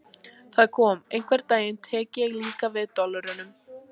Það kom: Einhvern daginn tek ég líka við dollurunum.